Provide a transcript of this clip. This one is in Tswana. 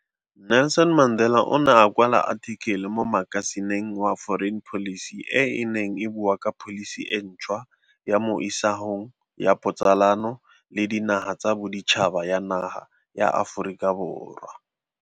Nelson Mandela o ne a kwa la athikele mo makasineng wa Foreign Policy e e neng e bua ka pholisi e ntšhwa ya mo isagong ya botsalano le dinaga tsa boditšhaba ya naga ya Aforika Borwa.